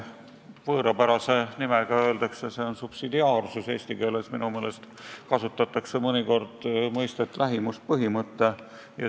Võõrapäraselt öelduna on see "subsidiaarsus", eesti keeles kasutatakse minu meelest mõnikord mõistet "lähimuspõhimõte".